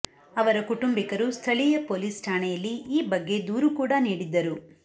ಅವರ ಕುಟುಂಬಿಕರು ಸ್ಥಳೀಯ ಪೊಲೀಸ್ ಠಾಣೆಯಲ್ಲಿ ಈ ಬಗ್ಗೆ ದೂರು ಕೂಡ ನೀಡಿದ್ದರು